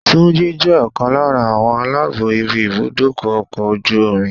Túnjí jẹ́ ọ̀kan lára àwọn aláàbó ibi ibùdó ọkọ̀ ojú omi.